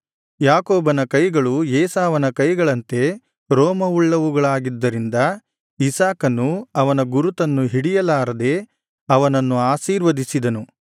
ಯಾಕೋಬನ ಕೈಗಳು ಏಸಾವನ ಕೈಗಳಂತೆ ರೋಮವುಳ್ಳವುಗಳಾಗಿದ್ದರಿಂದ ಇಸಾಕನು ಅವನ ಗುರುತನ್ನು ಹಿಡಿಯಲಾರದೆ ಅವನನ್ನು ಆಶೀರ್ವದಿಸಿದನು